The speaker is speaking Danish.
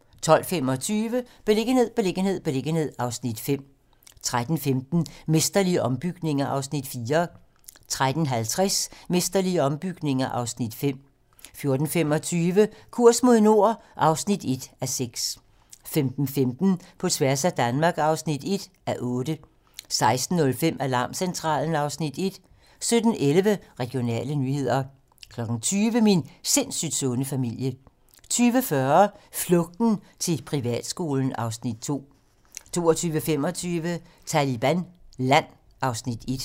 12:25: Beliggenhed, beliggenhed, beliggenhed (Afs. 5) 13:15: Mesterlige ombygninger (Afs. 4) 13:50: Mesterlige ombygninger (Afs. 5) 14:25: Kurs mod nord (1:6) 15:15: På tværs af Danmark (1:8) 16:05: Alarmcentralen (Afs. 1) 17:11: Regionale nyheder 20:00: Min sindssygt sunde familie 20:40: Flugten til privatskolen (Afs. 2) 22:25: Taliban Land (Afs. 1)